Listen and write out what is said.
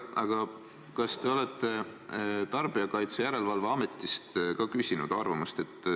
Aga kas te olete ka Tarbijakaitse ja Tehnilise Järelevalve Ametist arvamust küsinud?